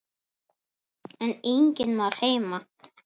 En enginn var heima.